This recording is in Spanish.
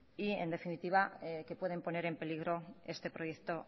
y en definitiva que pueden poner en peligro este proyecto